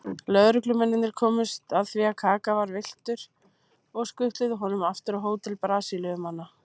Lögreglumennirnir komust að því að Kaka var villtur og skutluðu honum aftur á hótel Brasilíumanna.